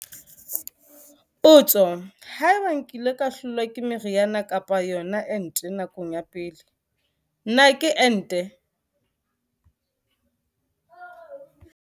Potso- Haeba nkile ka hlolwa ke meriana kapa yona ente nakong ya pele, na ke ente?